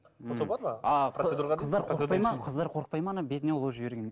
қыздар қорықпайды ма ана бетіне ұлу жібергенге